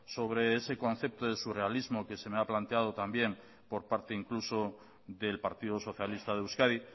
sobre ese concepto de surrealismo que se me ha planteado también por parte incluso del partido socialista de euskadi